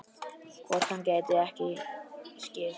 Hvort hann gæti ekki skipt?